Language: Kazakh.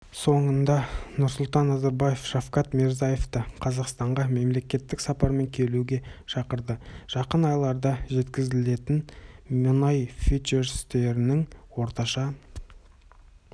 соңында нұрсұлтан назарбаев шавкат мирзиевті қазақстанға мемлекеттік сапармен келуге шақырды жақын айларда жеткізілетін мұнай фьючерстерінің орташа